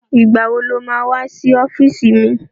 Ìgbà wo lo má wá sí ọ́fíìsì mi?